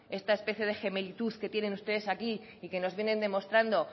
esta especie de gemelitud que tienen ustedes aquí y que nos vienen demostrando